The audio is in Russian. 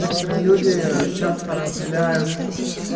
некоторые люди часто разделяют